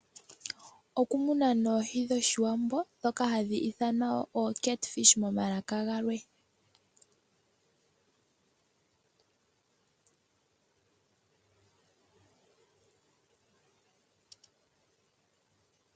Oku muna oohi dhoshiwambo dhoka handhi ithanwa oCatfish momalaka galwe.